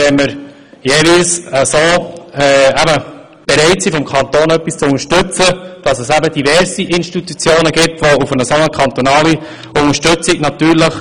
Wenn wir seitens des Kantons bereit sind, hier zu unterstützen, dann gäbe es natürlich noch diverse andere solche Institutionen, die ebenfalls auf eine kantonale Unterstützung hoffen.